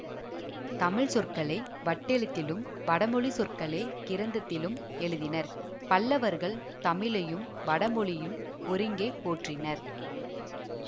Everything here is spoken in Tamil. தமிழ்ச்சொற்களை வட்டெழுத்திலும் வடமொழிச்சொற்களைக் கிரந்தத்திலும் எழுதினர் பல்லவர்கள் தமிழையும் வடமொழியையும் ஒருங்கே போற்றினர்